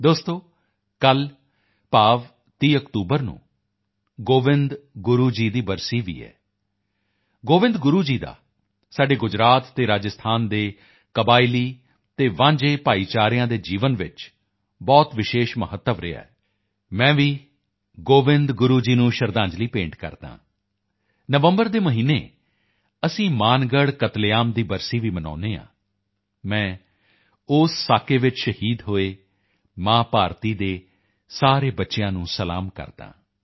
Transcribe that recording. ਦੋਸਤੋ ਕੱਲ੍ਹ ਭਾਵ 30 ਅਕਤੂਬਰ ਨੂੰ ਗੋਵਿੰਦ ਗੁਰੂ ਜੀ ਦੀ ਬਰਸੀ ਵੀ ਹੈ ਗੋਵਿੰਦ ਗੁਰੂ ਜੀ ਦਾ ਸਾਡੇ ਗੁਜਰਾਤ ਅਤੇ ਰਾਜਸਥਾਨ ਦੇ ਕਬਾਇਲੀ ਅਤੇ ਵਾਂਝੇ ਭਾਈਚਾਰਿਆਂ ਦੇ ਜੀਵਨ ਵਿੱਚ ਬਹੁਤ ਵਿਸ਼ੇਸ਼ ਮਹੱਤਵ ਰਿਹਾ ਹੈ ਮੈਂ ਵੀ ਗੋਵਿੰਦ ਗੁਰੂ ਜੀ ਨੂੰ ਸ਼ਰਧਾਂਜਲੀ ਭੇਂਟ ਕਰਦਾ ਹਾਂ ਨਵੰਬਰ ਦੇ ਮਹੀਨੇ ਅਸੀਂ ਮਾਨਗੜ੍ਹ ਕਤਲੇਆਮ ਦੀ ਬਰਸੀ ਵੀ ਮਨਾਉਂਦੇ ਹਾਂ ਮੈਂ ਉਸ ਸਾਕੇ ਵਿੱਚ ਸ਼ਹੀਦ ਹੋਏ ਮਾਂ ਭਾਰਤੀ ਦੇ ਸਾਰੇ ਬੱਚਿਆਂ ਨੂੰ ਸਲਾਮ ਕਰਦਾ ਹਾਂ